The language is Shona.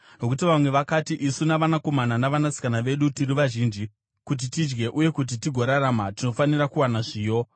Nokuti vamwe vakati, “Isu navanakomana navanasikana vedu tiri vazhinji; kuti tidye uye kuti tigorarama, tinofanira kuwana zviyo.”